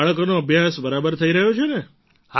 બાળકોનો અભ્યાસ બરાબર થઈ રહ્યો છે ને